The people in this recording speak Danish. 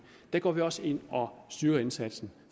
der går vi også ind og styrer indsatsen